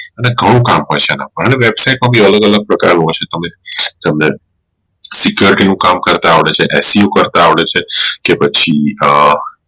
અનમે ઘણું કામ હોઈ છે એમાં ઘણી website માં પણ અલગ અલગ પ્રકારનું હોઈ છે તમને Security નું કામ કરતા આવડે છે s u કરતા આવડે છે કે પછી એ